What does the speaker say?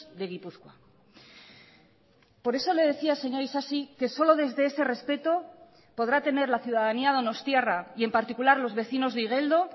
de gipuzkoa por eso le decía señor isasi que solo desde ese respeto podrá tener la ciudadanía donostiarra y en particularlos vecinos de igeldo